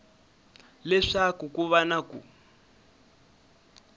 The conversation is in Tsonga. leswaku ku va na ku